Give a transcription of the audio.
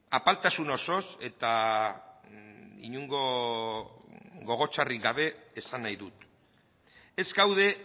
apaltasun osoz eta inongo gogo txarrik gabe esan nahi dut ez gaude